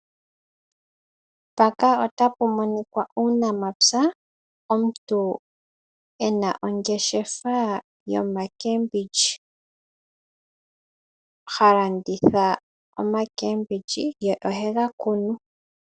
Mpaka otapu monikwa uunamapya. Omuntu ena ongeshefa yomakembindji, ha landitha omakembindji ye ohe ga kunu.